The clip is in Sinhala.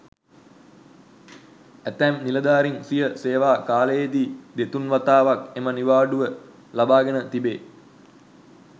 ඇතැම් නිලධාරින් සිය සේවා කාලයේදී දෙතුන් වතාවක් එම නිවාඩුව ලබා ගෙන තිබේ.